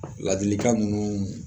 Ladilikan ninnu